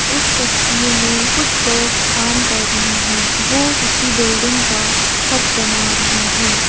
इस तस्वीर में कुछ लोग काम कर रहे हैं वो किसी बिल्डिंग का छत बना रहे हैं।